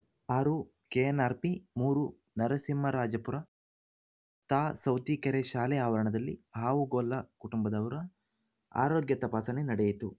ಆರು ಕೆಎನ್‌ಆರ್‌ಪಿ ಮೂರು ನರಸಿಂಹರಾಜಪುರ ತಾ ಸೌತಿಕೆರೆ ಶಾಲೆ ಆವರಣದಲ್ಲಿ ಹಾವುಗೊಲ್ಲ ಕುಟುಂಬದವರ ಆರೋಗ್ಯ ತಪಾಸಣೆ ನಡೆಯಿತು